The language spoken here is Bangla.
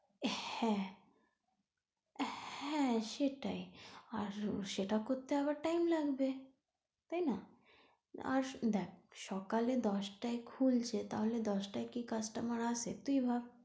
হ্যাঁ হ্যাঁ সেটাই আর সেটা করতে আবার time লাগবে তাইনা? আর দেখ সকালে দশটায় খুলছে তাহলে দশটায় কি customer আসে তুই ভাব।